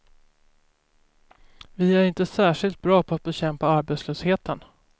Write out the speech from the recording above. Vi är inte särskilt bra på att bekämpa arbetslösheten.